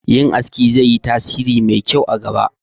Yin aski zai yi tasiri mai kyau a gaba